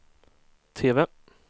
TV